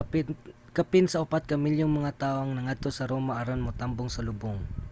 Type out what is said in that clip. kapin sa upat ka milyong mga tawo ang nangadto sa roma aron motambong sa lubong